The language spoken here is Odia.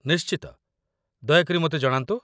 ନିଶ୍ଚିତ, ଦୟାକରି ମୋତେ ଜଣାନ୍ତୁ।